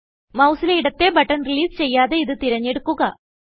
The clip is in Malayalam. മൌസിലെ ഇടത്തെ ബട്ടൺ റിലീസ് ചെയ്യാതെ ഇതു തിരഞ്ഞെടുക്കുക